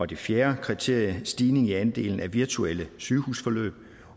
det fjerde kriterie er en stigning i andelen af virtuelle sygehusforløb